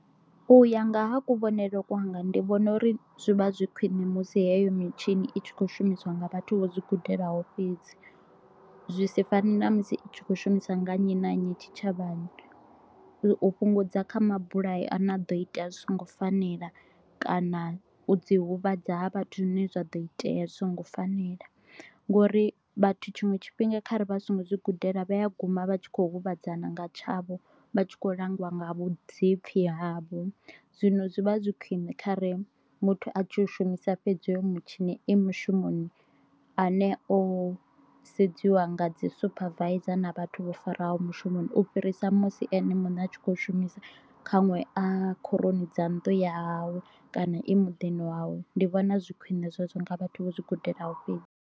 U ya nga ha kuvhonele kwanga ndi vhona uri zwi vha zwi khwine musi heyo mitshini i tshi kho shumisiwa nga vhathu vho zwi gudelaho fhedzi, zwi si fane na musi i tshi kho shumisa nga nnyi na nnyi tshitshavhani u fhungudza kha mabulayo a ne a ḓo ita zwi songo fanela kana u dzi huvhadza ha vhathu zwine zwa ḓo itea zwi songo fanela, ngori vhathu tshiṅwe tshifhinga kha ri vha ri songo zwi gudela vha ya guma vha tshi kho huvhadzana nga tshavho vha tshi kho langiwa nga vhuḓipfhi havho. Zwino zwi vha zwi khwine khare muthu a tshi shumisa fhedzi hoyo mutshini e mushumoni ane o sedziwa nga dzi supervisor na vhathu vho faraho mushumoni u fhirisa musi ene muṋe a tshi kho shumisa kha ṅwe a khoroni dza nnḓu ya hawe kana e muḓini wawe ndi vhona zwi khwine zwezwo nga vhathu vho zwi gudelaho fhedzi.